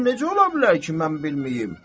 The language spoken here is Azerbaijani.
Axı necə ola bilər ki, mən bilməyim?